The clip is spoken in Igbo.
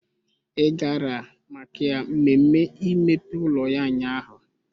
Ị gara maka mmemme imepe ụlọ ya ụnyaahụ?